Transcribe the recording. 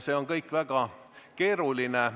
See on kõik väga keeruline.